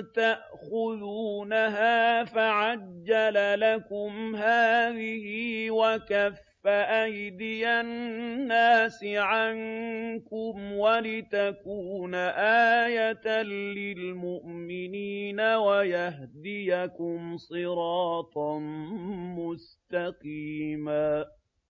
تَأْخُذُونَهَا فَعَجَّلَ لَكُمْ هَٰذِهِ وَكَفَّ أَيْدِيَ النَّاسِ عَنكُمْ وَلِتَكُونَ آيَةً لِّلْمُؤْمِنِينَ وَيَهْدِيَكُمْ صِرَاطًا مُّسْتَقِيمًا